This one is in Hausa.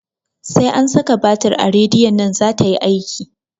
Sai an saka batir a radiyon nan zata yi aiki